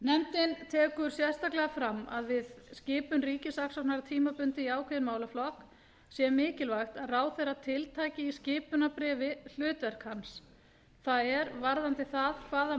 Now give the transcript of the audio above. nefndin tekur sérstaklega fram að við skipun ríkissaksóknara tímabundið í ákveðinn málaflokk sé mikilvægt að ráðherra tiltaki í skipunarbréfi hlutverk hans það er varðandi það hvaða